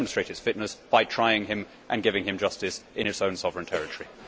It will demonstrate its fitness by trying him and giving him justice in its own sovereign territory.